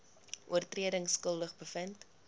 oortredings skuldig bevind